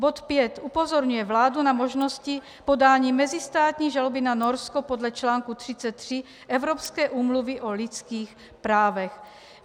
Bod 5 upozorňuje vládu na možnosti podání mezistátní žaloby na Norsko podle článku 33 Evropské úmluvy o lidských právech.